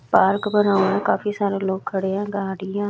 Perk बना हुआ है काफी सारे लोग खड़े हैं गाडियां--